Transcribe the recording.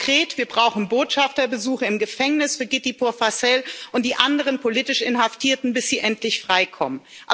Konkret, wir brauchen Botschafterbesuche im Gefängnis für Giti Purfasel und die anderen politisch Inhaftierten, bis sie endlich freikommen.